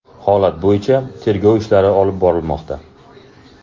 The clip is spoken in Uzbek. Holat bo‘yicha tergov ishlari olib borilmoqda.